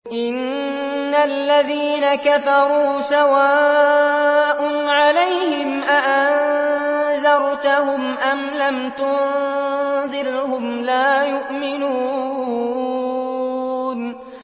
إِنَّ الَّذِينَ كَفَرُوا سَوَاءٌ عَلَيْهِمْ أَأَنذَرْتَهُمْ أَمْ لَمْ تُنذِرْهُمْ لَا يُؤْمِنُونَ